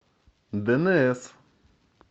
дэнээс